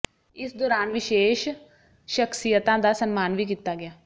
ਇਸ ਦੌਰਾਨ ਵਿਸ਼ੇਸ਼ ਸ਼ਖ਼ਸੀਅਤਾਂ ਦਾ ਸਨਮਾਨ ਵੀ ਕੀਤਾ ਗਿਆ